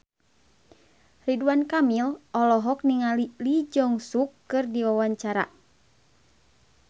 Ridwan Kamil olohok ningali Lee Jeong Suk keur diwawancara